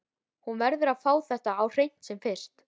Hún verður að fá þetta á hreint sem fyrst.